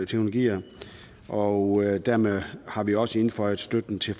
teknologier og dermed har vi også indføjet støtten til